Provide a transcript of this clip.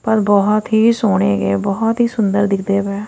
ਪਰ ਬਹੁਤ ਹੀ ਸੋਹਣੇ ਹੈਗੇ ਆ ਬਹੁਤ ਹੀ ਸੁੰਦਰ ਦਿੱਖਦੇ ਪਏ --